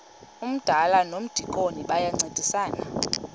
umdala nomdikoni bayancedisana